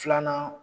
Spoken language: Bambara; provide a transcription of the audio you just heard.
Filanan